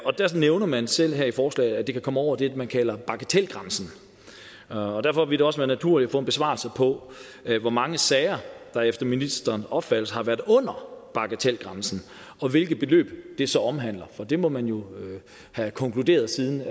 nævner man selv i forslaget at det kan komme over det man kalder bagatelgrænsen og derfor vil det også være naturligt at få en besvarelse på hvor mange sager der efter ministerens opfattelse har været under bagatelgrænsen og hvilke beløb det så omhandler for det må man have konkluderet siden